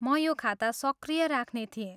म यो खाता सक्रिय राख्ने थिएँ।